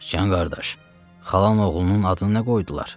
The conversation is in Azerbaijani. Sıcan qardaş, xalan oğlunun adını nə qoydular?